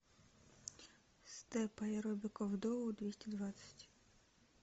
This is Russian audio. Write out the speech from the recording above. степ аэробика в доу двести двадцать